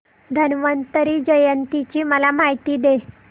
धन्वंतरी जयंती ची मला माहिती दे